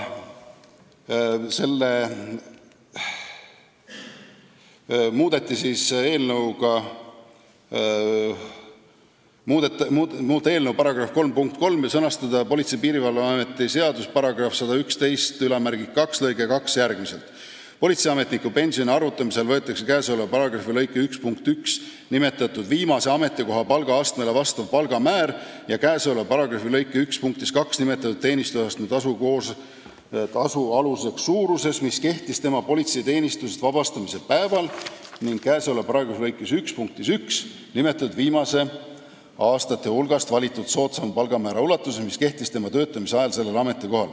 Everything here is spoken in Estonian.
Muudatusettepanek näeb ette muuta eelnõu § 3 punkti 3 ning sõnastada politsei ja piirivalve seaduse § 1112 lõige 2 järgmiselt: "Politseiametniku pensioni arvutamisel võetakse käesoleva paragrahvi lõike 1 punktis 1 nimetatud viimase ametikoha palgaastmele vastav palgamäär ja käesoleva paragrahvi lõike 1 punktis 2 nimetatud teenistusastmetasu aluseks suuruses, mis kehtis tema politseiteenistusest vabastamise päeval, ning käesoleva paragrahvi lõike 1 punktis 1 nimetatud viie viimase aasta hulgast valitud soodsaim palgamäär suuruses, mis kehtis tema töötamise ajal sellel ametikohal.